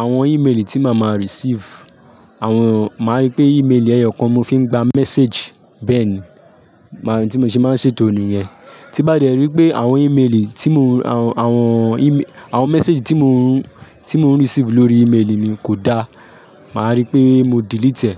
àwọn ímeèlì tí màá ma receive, àwọn, màá rí pé ímeèlì ẹyọkan mo fi ń gba message bẹ́ẹ̀ ni. Màá rí tí mo ṣe máa ń ṣètò nìyẹn. Tí bá dẹ rí pé àwọn ímeèlì tí mo, àwọn, àwọn íme-- àwọn message tí mo ń, tí mo ń receive lórí ímeèlì mi kò dá, màá rí pé mo delete ẹ́.